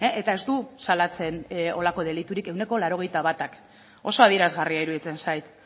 eta ez du salatzen holako deliturik ehuneko laurogeita batak oso adierazgarria iruditzen zait